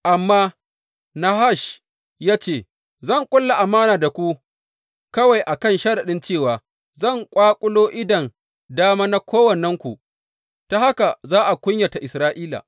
Amma Nahash ya ce, Zan ƙulla amana da ku kawai a kan sharaɗin cewa zan ƙwaƙulo idon dama na kowannenku, ta haka za a kunyata Isra’ila.